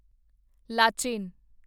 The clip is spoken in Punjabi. ਲਾਚੇਨ